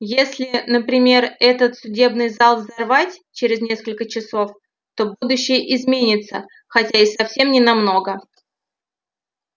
если например этот судебный зал взорвать через несколько часов то будущее изменится хотя и совсем не намного